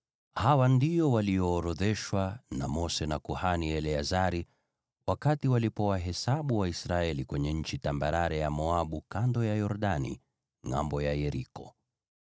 Hawa ndio walioorodheshwa na Mose na kuhani Eleazari wakati waliwahesabu Waisraeli kwenye nchi tambarare ya Moabu, kando ya Yordani ngʼambo ya Yeriko.